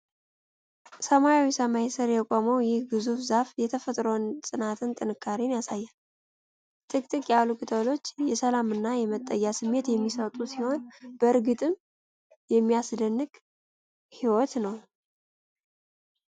በሰማያዊ ሰማይ ስር የቆመው ይህ ግዙፍ ዛፍ የተፈጥሮን ጽናትና ጥንካሬ ያሳያል። ጥቅጥቅ ያሉ ቅጠሎቹ የሰላምና የመጠጊያ ስሜት የሚሰጡ ሲሆን፣ በእርግጥም የሚያስደንቅ ህይወት ነው!